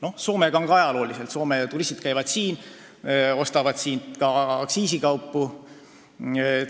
Suhetes Soomega on see juba ajalooliselt nii olnud, et Soome turistid käivad siin ja ostavad siit ka aktsiisikaupu.